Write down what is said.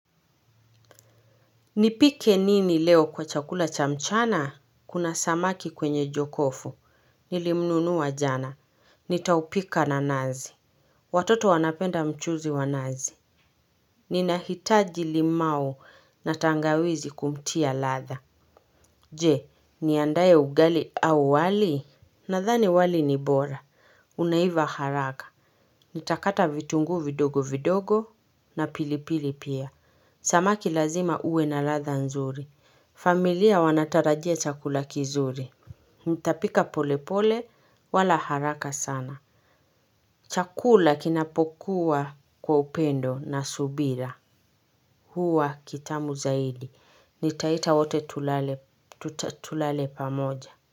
Nipike nini leo kwa chakula cha mchana? Kuna samaki kwenye jokofu. Nilimnunua jana. Nitaupika na nazi. Watoto wanapenda mchuzi wa nazi. Ninahitaji limau na tangawizi kumtia ladha. Je, niandae ugali au wali? Nadhani wali ni bora. Unaiva haraka. Nitakata vitungu vidogo vidogo na pilipili pia. Samaki lazima uwe na ladha nzuri. Familia wanatarajia chakula kizuri. Nitapika polepole wala haraka sana. Chakula kinapokuwa kwa upendo na subira huwa kitamu zaidi. Nitaita wote tulale pamoja.